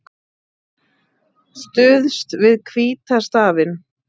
Stuðst við hvíta stafinn